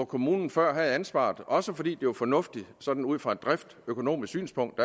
kommunen før havde ansvaret for også fordi det var fornuftigt sådan ud fra et driftsøkonomisk synspunkt